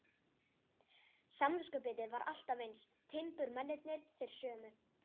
Samviskubitið var alltaf eins, timburmennirnir þeir sömu.